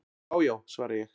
"""Já já, svara ég."""